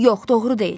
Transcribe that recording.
Yox, doğru deyil.